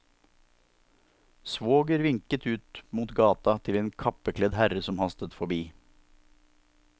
Svoger vinket ut mot gata til en kappekledd herre som hastet forbi.